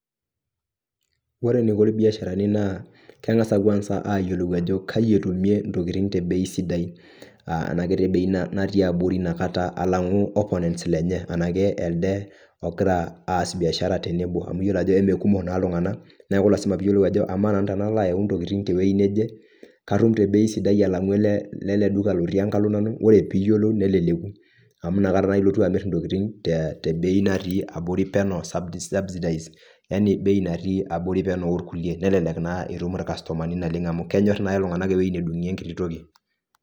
Wore eniko ilbiasharani naa kengasa kwanza ayiolou ajo kai etumie intokitin te bei sidai. Enakiti bei natii abori iniakata alangu opponents lenye. Enaake elde okira aas biashara tenebo. Amu iyiolo ajo emekumok naa iltunganak, neeku lasima pee iyiolou ajo kamaa tenalo ayau intokitin tewoji neje, katum te bei sidai alangu eleleduka lotii enkalo nanu, wore piiyiolou neleleku, amu inakata ilotu amirr intokitin tebei natii abori peno subsidized. Yani bei natii abori peno orkulie, nelelek naa itum orkastomani naleng amu kenyor naa iltunganak ewoji nedungi enkiti toki.